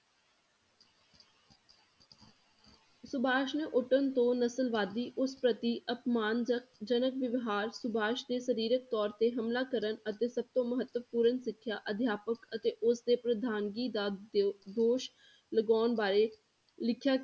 ਸੁਭਾਸ਼ ਨੇ ਤੋ ਨਸਲਵਾਦੀ ਉਸ ਪ੍ਰਤੀ ਅਪਮਾਨ ਜ~ ਜਨਕ ਵਿਵਹਾਰ ਸੁਭਾਸ਼ ਤੇ ਸਰੀਰਕ ਤੌਰ ਤੇ ਹਮਲਾ ਕਰਨ ਅਤੇ ਸਭ ਤੋਂ ਮਹੱਤਵਪੂਰਨ ਸਿੱਖਿਆ ਅਧਿਆਪਕ ਅਤੇ ਉਸਦੇ ਪ੍ਰਧਾਨਗੀ ਦਾ ਦ~ ਦੋਸ਼ ਲਗਾਉਣ ਬਾਰੇ ਲਿਖਿਆ,